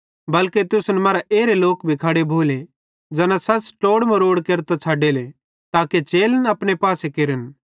बल्के तुसन मरां भी एरे लोक खड़े भोले ज़ैना सच़ ट्लोड़ मरोड़ केरतां छ़डेले ताके चेलन अपने पासे केरन